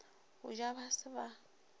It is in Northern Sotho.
go ja ba se ba